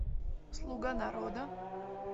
слуга народа